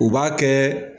U b'a kɛ